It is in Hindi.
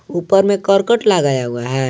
ऊपर में करकट लगाया हुआ है।